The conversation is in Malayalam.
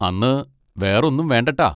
അന്ന് വേറൊന്നും വേണ്ട ട്ടാ.